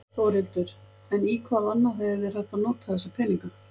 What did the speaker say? Þórhildur: En í hvað annað hefði verið hægt að nota þessa peninga?